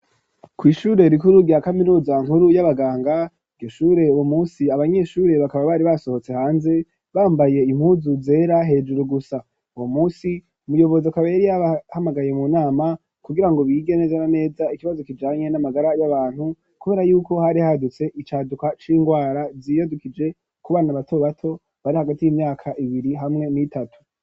Kw'ishure rikuru rya kaminuza nkuru y'abaganga ,iryo shure uwo munsi abanyeshure bakaba bari basohotse hanze bambaye impuzu zera hejuru gusa, uwo munsi umuyobozi akaba yari yabahamagaye mu nama kugira ngo bige neza na neza ikibazo kijanye n'amagara y'abantu ,kubera yuko hari hadutse icaduka c'ingwara yiyadukije ku bana bato bato bari hagati y'imyaka ibiri hamwe n'itatu.